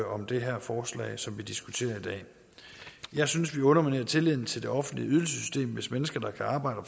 om det her forslag som vi diskuterer i dag jeg synes det underminerer tilliden til det offentlige ydelsessystem hvis mennesker der kan arbejde